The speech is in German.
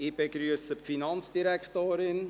Ich begrüsse die Finanzdirektorin.